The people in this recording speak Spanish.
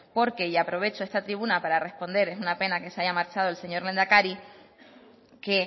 porque y aprovecho esta tribuna para responder es una pena que se haya marchado el señor lehendakari que